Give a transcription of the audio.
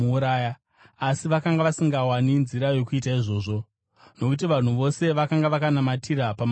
Asi vakanga vasingawani nzira yokuita izvozvo, nokuti vanhu vose vakanga vakanamatira pamashoko ake.